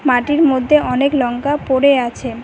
মাটির মধ্যে অনেক লঙ্কা পড়ে আছে।